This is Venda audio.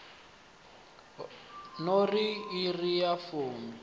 no ri iri ya fumi